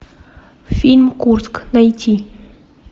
фильм курск найти